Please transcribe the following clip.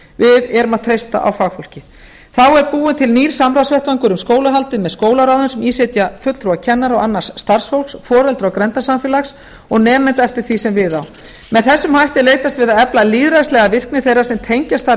við erum að treysta á fagfólkið þá er búinn til nýr samráðsvettvangur um skólahaldið með skólaráðum sem í sitja fulltrúar kennara og annars starfshóps foreldra og grenndarsamfélags og nemenda eftir því sem við á með þessum hætti er leitast við að efla lýðræðislega virkni þeirra sem tengjast starfi